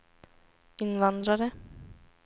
invandrare